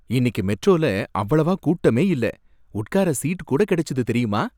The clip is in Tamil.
இன்னைக்கு மெட்ரோல அவ்வளவா கூட்டமே இல்ல, உட்கார சீட் கூட கிடைச்சது தெரியுமா?